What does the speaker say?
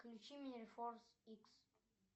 включи мне форс икс